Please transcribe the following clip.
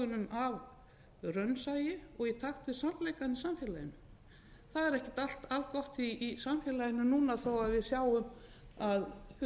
af raunsæi og í takt við sannleikann í samfélaginu það er ekkert allt algott í samfélaginu núna þó við sjáum að